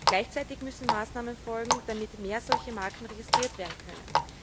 Gleichzeitig müssen Maßnahmen folgen, damit mehr solche Marken registriert werden können.